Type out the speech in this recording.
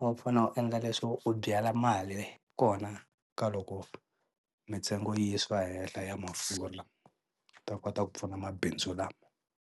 wu fanele u endla leswo wu byela mali kona ka loko mintsengo yi yisiwa hehla ya a ta kota ku pfuna mabindzu lama.